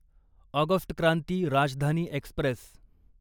August Kranti Rajdhani Express